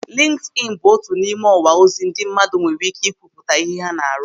Lịnkịdịnị bụ otu n'ime ọwa ozi ndị mmadụ nwere ị́ké kwupụta ihe ha na-arụ.